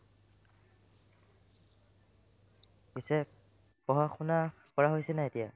পিছে পঢ়া-শুনা কৰা হৈছে নাই এতিয়া ?